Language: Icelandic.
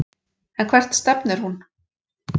En hvert stefnir hún?